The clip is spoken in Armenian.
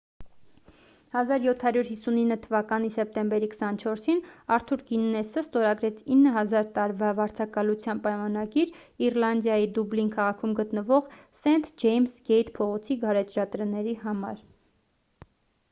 1759 թվականի սեպտեմբերի 24-ին արթուր գիննեսը ստորագրեց 9,000 տարվա վարձակալության պայմանագիր իռլանդիայի դուբլին քաղաքում գտնվող սենթ ջեյմս գեյթ փողոցի գարեջրատների համար